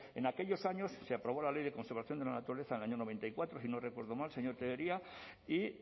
en aquellos años se aprobó la ley de conservación de la naturaleza en el año noventa y cuatro si no recuerdo mal señor tellería y